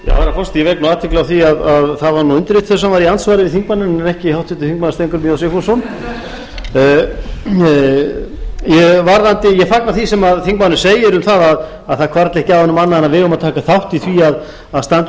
ég vek athygli á því að það var undirritaður sem var í andsvari við þingmanninn en ekki háttvirtur þingmaður steingrímur j sigfússon ég fagna því sem þingmaðurinn segir um að það hvarfli ekki að honum annað en að við eigum að taka þátt í því að standa